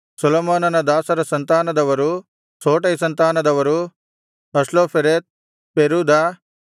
ಸೊಲೊಮೋನನ ದಾಸರ ಸಂತಾನದವರು ಸೋಟೈ ಸಂತಾನದವರು ಹಸ್ಲೋಫೆರೆತ್ ಪೆರೂದ